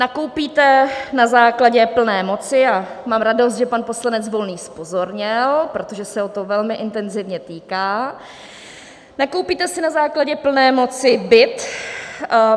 Nakoupíte na základě plné moci - a mám radost, že pan poslanec Volný zpozorněl, protože se ho to velmi intenzivně týká - nakoupíte si na základě plné moci byt.